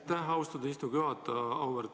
Aitäh, austatud istungi juhataja!